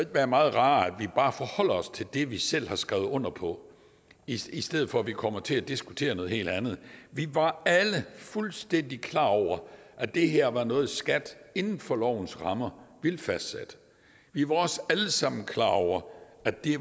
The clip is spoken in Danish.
være meget rarere at vi bare forholder os til det vi selv har skrevet under på i stedet for at vi kommer til at diskutere noget helt andet vi var alle fuldstændig klar over at det her var noget skat inden for lovens rammer ville fastsætte vi var også alle sammen klar over at det